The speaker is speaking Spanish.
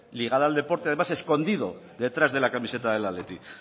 ligada además al deporte escondido detrás de la camiseta del athletic